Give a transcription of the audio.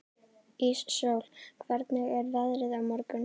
Íssól, hvernig er veðrið á morgun?